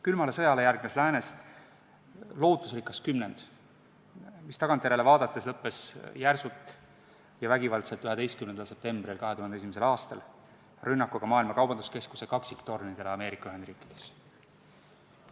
Külmale sõjale järgnes läänes lootusrikas kümnend, mis tagantjärele vaadates lõppes järsult ja vägivaldselt 11. septembril 2001. aastal rünnakuga Maailma Kaubanduskeskuse kaksiktornidele Ameerika Ühendriikides.